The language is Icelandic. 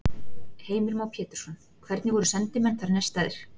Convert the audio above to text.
Heimir Már Pétursson: Hvernig voru sendimenn þar nestaðir?